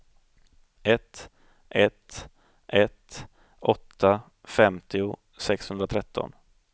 ett ett ett åtta femtio sexhundratretton